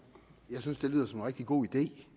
det